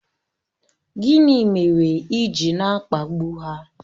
Gịnị mere ị ji na-akpagbu ha?